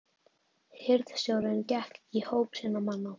Hirðstjórinn gekk í hóp sinna manna.